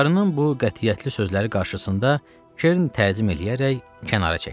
Qarının bu qətiyyətli sözləri qarşısında Kern təzim eləyərək kənara çəkildi.